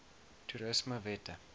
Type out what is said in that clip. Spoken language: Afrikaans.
toerismewette